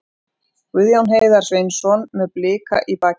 Guðjón Heiðar Sveinsson með Blika í bakinu.